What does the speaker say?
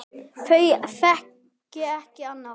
Þau þekki ekki annað.